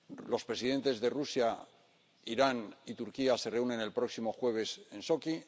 los presidentes de Rusia, Irán y Turquía se reúnen el próximo jueves en Sochi